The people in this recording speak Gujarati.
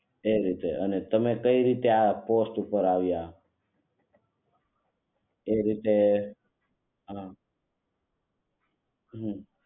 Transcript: એ રીતે અને તમે કેવી રીતે આ પોસ્ટ ઉપર આવિયા એ રીતે આ હમ